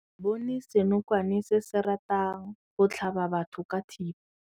Re bone senokwane se se ratang go tlhaba batho ka thipa.